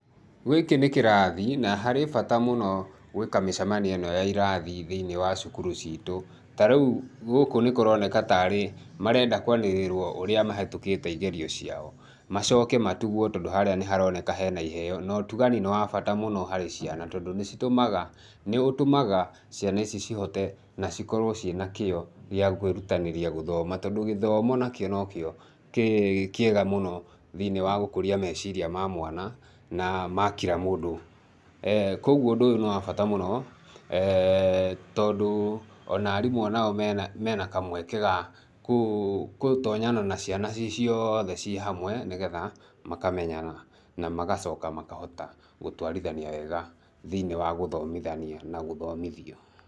Gĩkĩ nĩ kĩrathi, na harĩ bata mũno gwĩka mĩcemanio ĩno ya irathi thĩinĩ wa cukuru ciitũ. Ta rĩu gũkũ nĩ kũroneka ta arĩ marenda kũanĩrĩrwo ũrĩa mahetũkĩte igerio ciao. Macoke matugwo tondũ harĩa nĩ haroneka he na iheo, na ũtugani nĩ wa bata mũno harĩ ciana tondũ nĩ citũmaga, nĩ ũtũmaga ciana ici cihote na cikorũo ci na kĩo gĩa kwĩrutanĩria gũthoma tondũ gĩthomo nakĩo nokĩo kĩ kĩega mũno thĩinĩ wa gũkũria meciria ma mwana na ma kira mũndũ. Kwoguo ũndũ ũyũ nĩ wa bata mũno tondũ o na arimũ o nao me na, me na kamweke ga kũtonyana na ciana ci ciothe ci hamwe, nĩ getha makamenyana na magacoka makahota gũtwarithania wega thĩinĩ wa gũthomithania na gũthomithio.